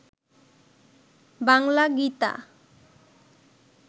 Bangla Gita